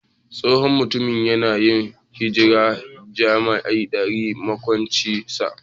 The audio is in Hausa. Tsohon mutumin ya na yin hiran jima'i da yar maƙwabcin sa.